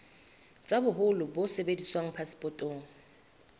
tsa boholo bo sebediswang phasepotong